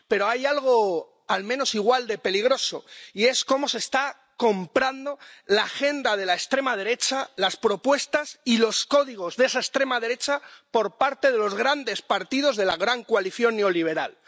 Pero hay algo al menos igual de peligroso, y es cómo se está comprando la agenda de la extrema derecha, las propuestas y los códigos de esa extrema derecha por parte de los grandes partidos de la gran coalición neoliberal.